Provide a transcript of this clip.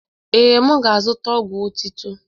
Ee, m ga-azụta ọgwụ otitọ.